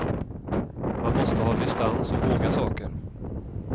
Man måste ha distans och våga saker.